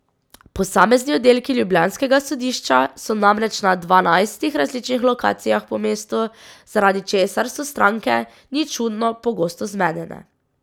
Posamezni oddelki ljubljanskega sodišča so namreč na dvanajstih različnih lokacijah po mestu, zaradi česar so stranke, ni čudno, pogosto zmedene.